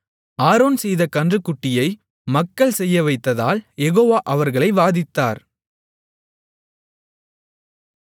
Aaron செய்த கன்றுக்குட்டியை மக்கள் செய்யவைத்ததால் யெகோவா அவர்களை வாதித்தார்